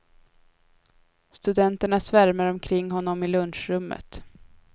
Studenterna svärmar omkring honom i lunchrummet.